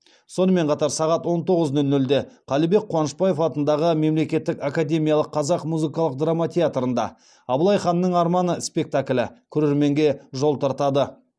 сонымен қатар сағат он тоғыз нөл нөлде қалібек қуанышбаев атындағы мемлекеттік академиялық қазақ музыкалық драма театрында абылай ханның арманы спектаклі көрерменге жол тартады